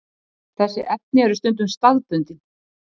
Þessi efni eru stundum staðbundin.